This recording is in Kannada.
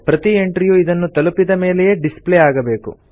ಪ್ರತೀ ಎಂಟ್ರಿಯು ಇದನ್ನು ತಲುಪಿದ ಮೇಲೆಯೇ ಡಿಸ್ಪ್ಲೇ ಆಗಬೇಕು